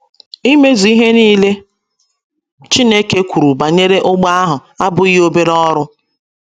Imezụ ihe nile Chineke kwuru banyere ụgbọ ahụ abụghị obere ọrụ.